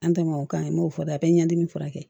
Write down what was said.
An ta ma o kan n b'o fɔ dɛ a be ɲɛdimi furakɛ